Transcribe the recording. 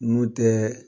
N'u tɛ